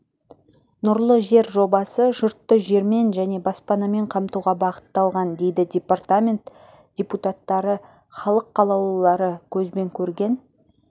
нұрлы жер жобасы жұртты жермен және баспанамен қамтуға бағытталған дейді парламент депутаттары халық қалаулылары көзбен көрген